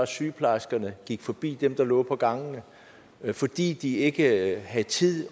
sygeplejerskerne forbi dem der lå på gangene fordi de ikke havde tid